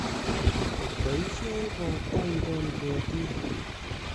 Boisie robta ikol ketiik